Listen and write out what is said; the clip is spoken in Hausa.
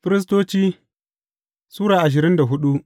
Firistoci Sura ashirin da hudu